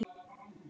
Sagði það, Lena.